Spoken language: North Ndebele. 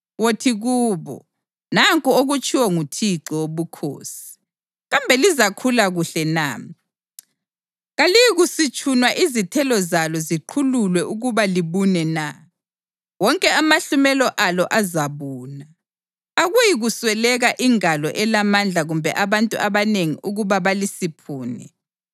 Wothi kubo, ‘Nanku okutshiwo nguThixo Wobukhosi: Kambe lizakhula kuhle na? Kaliyikusitshunwa izithelo zalo ziqhululwe ukuba libune na? Wonke amahlumela alo azabuna. Akuyikusweleka ingalo elamandla kumbe abantu abanengi ukuba balisiphune.